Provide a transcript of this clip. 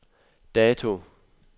dato